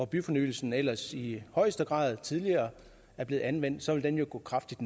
byfornyelsen ellers i højeste grad tidligere er blevet anvendt og så vil den jo gå kraftigt